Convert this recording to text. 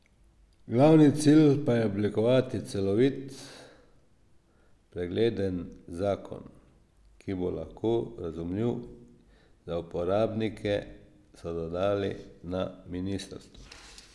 Glavni cilj pa je oblikovati celovit, pregleden zakon, ki bo lahko razumljiv za uporabnike, so dodali na ministrstvu.